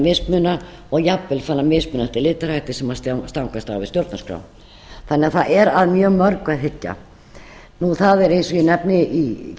mismuna og jafnvel farin að mismuna eftir litarhætti sem stangast á við stjórnarskrá það er því að mjög mörgu að hyggja það er eins og ég nefni í